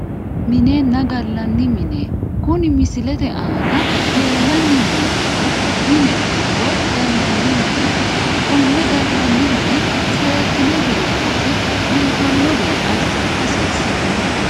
Minenna gallanni mine kuni misilete aana leellanni noonkehu mineho woyi gallanni mineeti konne gallanni mine seekkine biifinse biifanno gede assa hasiissanno